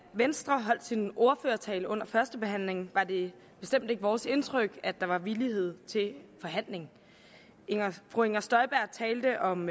venstre holdt sin ordførertale under førstebehandlingen var det bestemt ikke vores indtryk at der var villighed til forhandling fru inger støjberg talte om